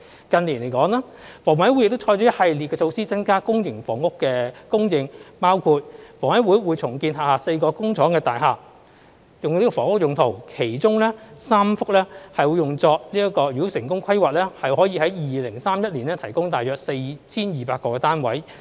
近年，香港房屋委員會亦採取一系列的措施，增加公營房屋的供應，包括房委會將會重建轄下4幢工廠大廈，用作房屋用途，其中3幢，如成功規劃，可於2031年提供大約 4,200 個單位。